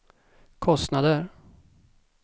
kostnader